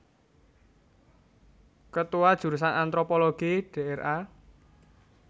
Ketua Jurusan Antropologi Dra